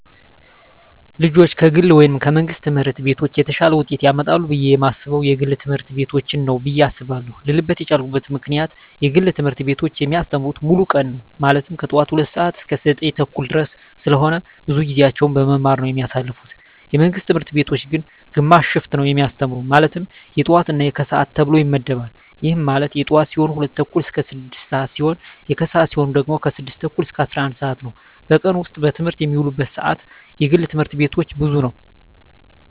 ልጆች ከግል ወይም ከመንግሥት ትምህርት ቤቶች የተሻለ ውጤት ያመጣሉ ብየ የማስበው የግል ትምህርት ቤቶችን ነው ብየ አስባለው ልልበት የቻልኩት ምክንያት የግል ትምህርት ቤቶች የሚያስተምሩት ሙሉ ቀን ነው ማለትም ከጠዋቱ 2:00 ሰዓት እስከ 9:30 ድረስ ስለሆነ ብዙውን ጊዜያቸውን በመማማር ነው የሚያሳልፉት የመንግስት ትምህርት ቤቶች ግን ግማሽ ሽፍት ነው የሚያስተምሩ ማለትም የጠዋት እና የከሰዓት ተብሎ ይመደባል ይህም ማለት የጠዋት ሲሆኑ 2:00 ስዓት እስከ 6:00 ሲሆን የከሰዓት ሲሆኑ ደግሞ 6:30 እስከ 11:00 ነው በቀን ውስጥ በትምህርት የሚውሉበት ሰዓት የግል ትምህርት ቤቶች ብዙ ነው።